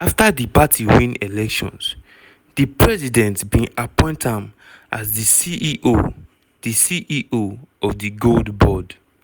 afta di party win elections di president bin appoint am as di ceo di ceo of di gold board.